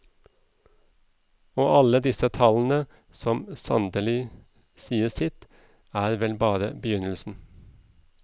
Og alle disse tall som sandelig sier sitt, er vel bare begynnelsen.